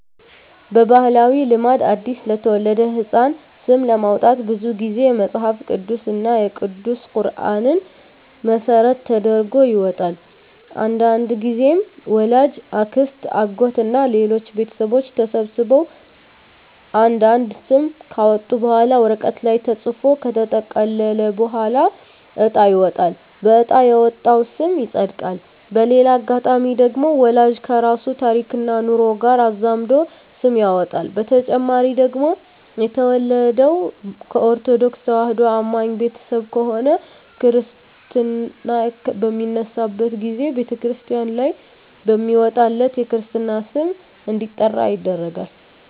በባህላዊ ልማድ አዲስ ለተወለደ ህጻን ስም ለማውጣት ብዙ ግዜ መጸሀፍ ቅዱስ እና ቅዱስ ቁራንን መሰረት ተደርጎ ይወጣል። አንዳንድግዜም ወላጅ፣ አክስት፣ አጎት እና ሌሎች ቤተሰቦች ተሰብስበው አንድ አንድ ስም ካወጡ በኋላ ወረቀት ላይ ተጽፎ ከተጠቀለለ በኋላ እጣ ይወጣል በእጣ የወጣው ስም ይጸድቃል። በሌላ አጋጣሚ ደግሞ ወላጅ ከራሱ ታሪክና ኑሮ ጋር አዛምዶ ስም ያወጣል። በተጨማሪ ደግሞ የተወለደው ከኦርተዶክ ተዋህዶ አማኝ ቤተሰብ ከሆነ ክርስታ በሚነሳበት ግዜ በተክርስቲያን ላይ በሚወጣለት የክርስትና ስም እንዲጠራ ይደረጋል።